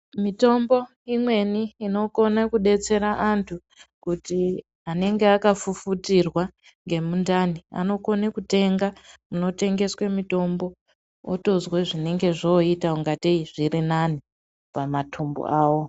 Mitombo imweni ino kona kudetsera antu kuti anenge aka fufutirwa nge mundani anokone kutenga kuno tengeswe mitombo otozwe zvinenge zvo ita kunga tei zviri nani pa matumbu awo.